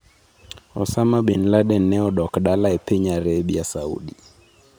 Osama bin Laden ne odok dala e piny Arabia Saudi.